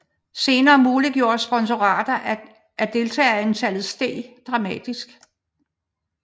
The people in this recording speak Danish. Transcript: Senere muliggjorde sponsorater at deltagerantallet steg dramatisk